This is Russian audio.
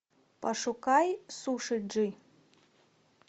пошукай сушиджи